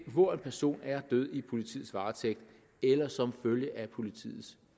hvor en person er død i politiets varetægt eller som følge af politiets